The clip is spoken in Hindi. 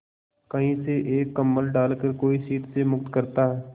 कहीं से एक कंबल डालकर कोई शीत से मुक्त करता